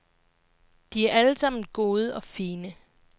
De er alle sammen gode og fine.